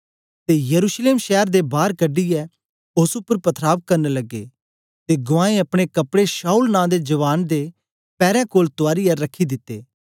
ते यरूशलेम शैर दे बार कढीयै ओस उपर पथराव करन लगे ते गुवाऐं अपने कपड़े शाऊल नां दे जवान दे पैरें कोल तुयारियै रखी दित्ते